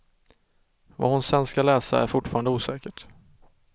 Vad hon sedan ska läsa är fortfarande osäkert.